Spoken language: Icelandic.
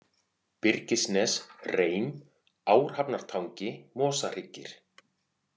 Byrgisnes, Reim, Árhafnartangi, Mosahryggir